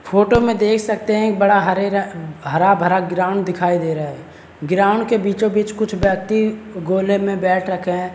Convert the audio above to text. Photo में देख सकते हैं एक बड़ा हरे अ हरा भरा ग्राउंड दिखाई दे रहा है ग्राउंड के बीचों बीच कुछ व्यक्ति गोले में बैठ रखे हैं।